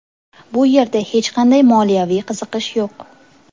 Bu yerda hech qanday moliyaviy qiziqish yo‘q.